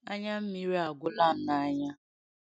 Anya mmịrị agwụla m n’anya.